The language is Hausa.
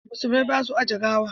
Musulmai ba su ajiye gawa.